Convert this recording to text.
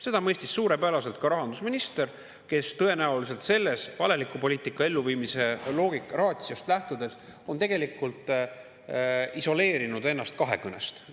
Seda mõistis suurepäraselt ka rahandusminister, kes tõenäoliselt sellest valeliku poliitika elluviimise logica ratio'st lähtudes on tegelikult isoleerinud ennast kahekõnest.